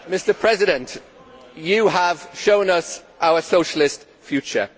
Mr President, you have shown us our socialist future.